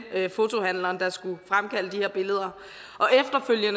fotohandleren der skulle fremkalde de her billeder